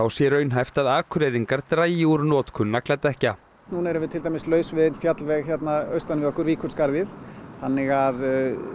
sé raunhæft að Akureyringar dragi úr notkun nagladekkja núna erum við til dæmis laus við einn fjallveg austan við okkur Víkurskarðið þannig að